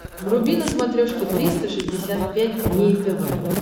вруби на смотрешке триста шестьдесят пять дней тв